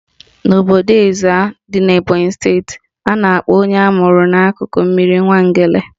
N'obodo Ezza dị n'Ebonyi steeti, a na-akpọ onye amụrụ n'akụkụ mmiri Nwangele